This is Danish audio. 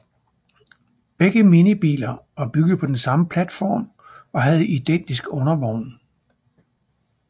Begge minibiler var bygget på den samme platform og havde identisk undervogn